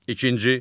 İkinci.